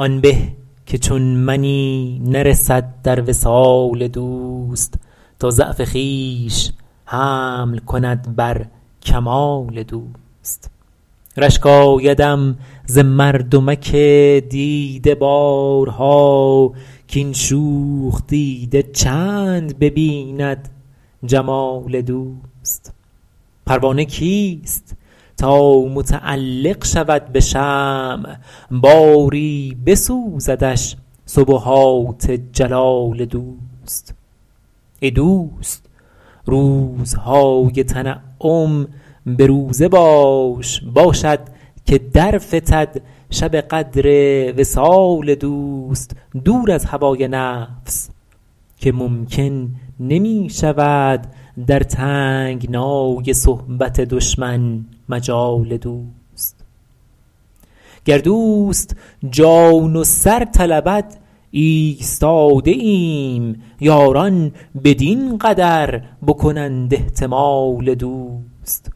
آن به که چون منی نرسد در وصال دوست تا ضعف خویش حمل کند بر کمال دوست رشک آیدم ز مردمک دیده بارها کاین شوخ دیده چند ببیند جمال دوست پروانه کیست تا متعلق شود به شمع باری بسوزدش سبحات جلال دوست ای دوست روزهای تنعم به روزه باش باشد که در فتد شب قدر وصال دوست دور از هوای نفس که ممکن نمی شود در تنگنای صحبت دشمن مجال دوست گر دوست جان و سر طلبد ایستاده ایم یاران بدین قدر بکنند احتمال دوست